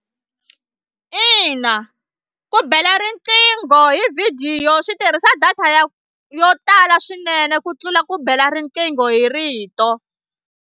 Ina ku bela riqingho hi vhidiyo swi tirhisa data ya yo tala swinene ku tlula ku bela riqingho hi rito.